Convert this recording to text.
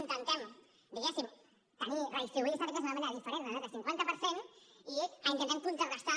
intentem diguéssim redistribuir aquesta riquesa de manera diferent en l’altre cinquanta per cent i intentem contrarestar